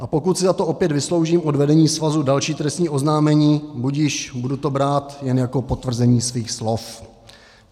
A pokud si za to opět vysloužím od vedení svazu další trestní oznámení, budiž, budu to brát jen jako potvrzení svých slov.